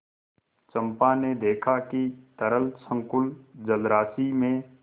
चंपा ने देखा कि तरल संकुल जलराशि में